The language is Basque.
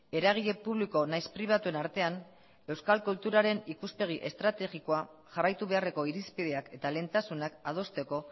eragile publiko nahiz pribatuen artean euskal kulturaren ikuspegi estrategikoa jarraitu beharreko irizpideak eta lehentasunak adosteko